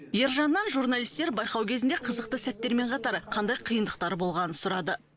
ержаннан журналистер байқау кезінде қызықты сәттермен қатар қандай қиындықтар болғанын сұрады